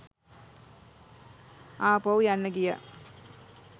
ආපහු යන්න ගියා